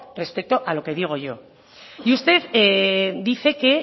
respeto a lo que digo yo y usted dice que